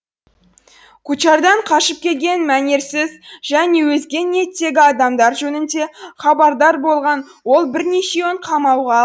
кучардан қашып келген мәнерсіз және өзге ниеттегі адамдар жөнінде хабардар болған ол бірнешеуін қамауға